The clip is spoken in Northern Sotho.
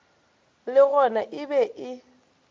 le gona e be e